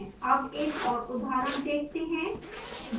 अब एक और उदाहरण देखते हैं